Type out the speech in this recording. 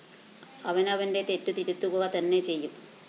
അവനവന്റെ തെറ്റുതിരുത്തുക തന്നെ ചെയ്യും